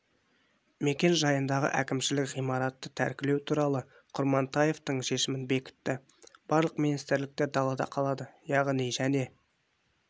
мекен жайындағы әкімшілік ғимаратты тәркілеу туралы құрмантаевтың шешімін бекітті барлық министрліктер далада қалады яғни және